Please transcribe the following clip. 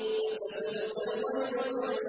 فَسَتُبْصِرُ وَيُبْصِرُونَ